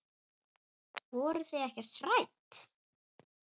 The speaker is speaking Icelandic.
Voruð þið ekkert hrædd?